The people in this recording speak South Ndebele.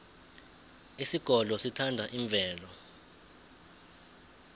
isigodlo sithanda imvelo